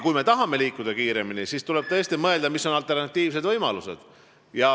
Kui me tahame liikuda kiiremini, siis tuleb tõesti mõelda, mis on alternatiivsed võimalused.